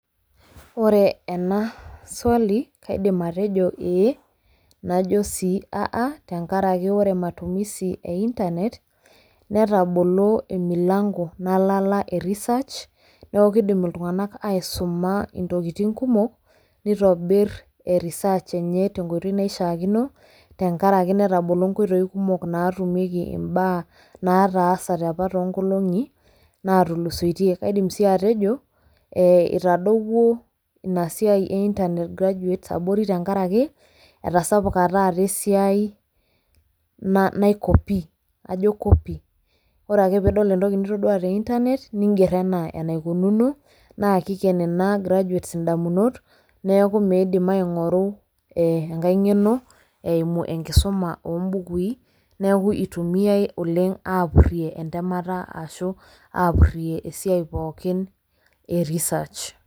ore ena swali kaidim atejo ee najo sii a a tenkaraki ore matumisi e internet netabolo emilango nalala e research. neeku kidim iltunganka aisuma intokiitin kumok, neitobir e research enye tenkoitoi naishaakino. tenkaraki netabolo nkoitoi kumok naatumieki imbaa naataasate apa too nkolong'i natulusoitie. kaidim sii ataejo itadowuo ina siai e internet graduates abori tenkaraki etasapuka taa esiai nai copy kajo copy. ore ake pee idol entoki nitoduaa te internet niger anaa enaikununo neeku kiiger ana enaikununu. naa kiken ina graduates idamunot, neeku miidim aingoru ee enkae ngeno eimu enkisuma oo bukui, neeku itumiae oleng aapurie, enetemata aahu apuri esiai pooki e research.